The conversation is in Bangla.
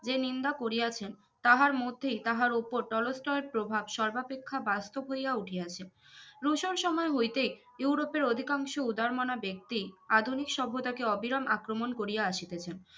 যে নিন্দা করিয়াছে তাহার মধ্যে তাহার ওপর টলস্টয়ের প্রভাব সর্বাপেক্ষা বাস্তব হইয়া উঠিয়াছে রুশন সময় হইতে ইউরোপের অধিকাংশ উদারমনা ব্যক্তি আধুনিক সভ্যতাকে অবিরাম আক্রমন করিয়া আসিতেছেন